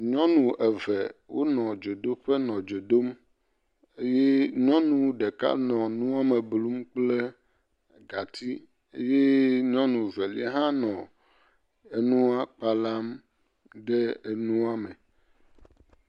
Ŋuƒoƒowo sɔsrɔ̃ aɖe le edzi yim le kɔƒe aɖe me le gota. Ŋutsu aɖe ɖɔ kuku eye wobla watsi eye wo le ŋu sia ƒom. Yevu aɖewo hã le ŋua ƒom.